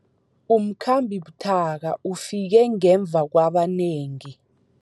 Umkhambi buthaka ufike ngemva kwabanengi.